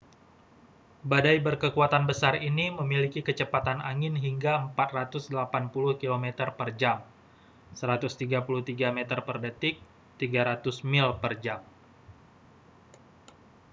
badai berkekuatan besar ini memiliki kecepatan angin hingga 480 km/jam 133 m/dtk; 300 mil per jam